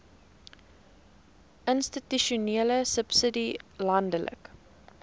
institusionele subsidie landelike